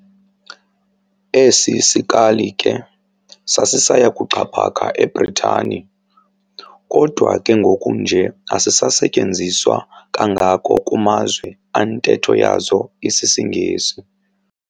Esi sikali ke sasisaya kuxhaphaka eBritani, kodwa ke kungoku nje asisasetyenziswa kangako kumazwe antetho yazo isisiNgesi.